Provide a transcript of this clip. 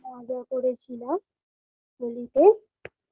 খাওয়া দাওয়া করেছিলাম হোলিতে